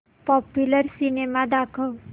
popular cinema दाखव